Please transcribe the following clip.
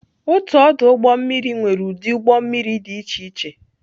Otu ọdụ ụgbọ mmiri nwere ụdị ụgbọ mmiri dị iche iche